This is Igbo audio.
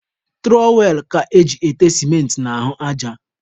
Tụrọwel ka eji ete sịmentị n'ahụ aja.